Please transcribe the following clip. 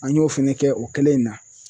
An y'o fɛnɛ kɛ o kelen in na.